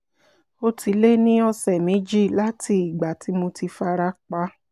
ó ti lé ní ọ̀sẹ̀ méjì láti ìgbà tí mo ti fara pa